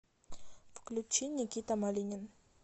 включи никита малинин